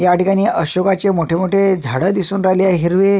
या ठिकाणी अशोकाचे मोठे मोठे झाड दिसून राहिले आहे हिरवे.